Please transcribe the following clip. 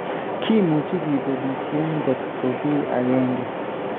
Kimuchi kibelisyen nkot ko ki akenke